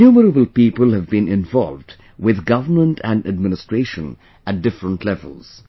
Innumerable people have been involved with government and administration at different levels